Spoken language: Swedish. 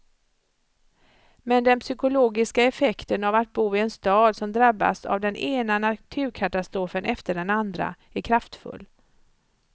Men den psykologiska effekten av att bo i en stad som drabbas av den ena naturkatastrofen efter den andra är kraftfull.